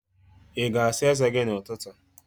Ị ga-asa eze gị n'ụtụtụ?